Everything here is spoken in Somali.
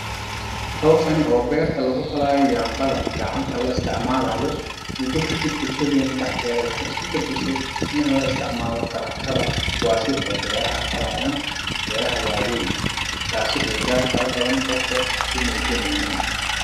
Hawshani oo berta lagufalaayo yambada gacanta la isticmaalayo mudo kadib bulshadena dhaxdeeda waxay isku bedeshe in la isticmaalo taraktada kuwaasi oo beraha falayaan, beeraha waaweyn taasi oo qofka dhaal fara badan u muujineynin